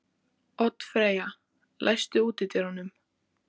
Oddfreyja, læstu útidyrunum.